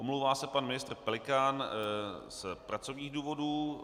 Omlouvá se pan ministr Pelikán z pracovních důvodů.